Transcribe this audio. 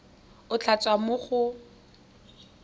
go tla tswa mo go